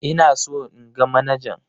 Ina so in ga manajan.